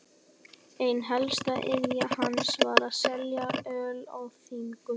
Ein helsta iðja hans var að selja öl á þingum.